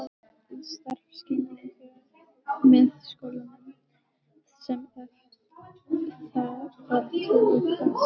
Í starfskynningu með skólanum, sem efnt var til í Kassagerð